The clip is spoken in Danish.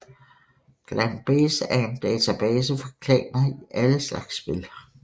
ClanBase er en database for klaner i alle slags spil